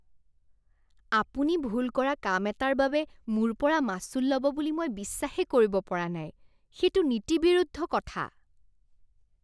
আপুনি ভুল কৰা কাম এটাৰ বাবে মোৰ পৰা মাচুল ল'ব বুলি মই বিশ্বাসেই কৰিব পৰা নাই। সেইটো নীতিবিৰুদ্ধ কথা।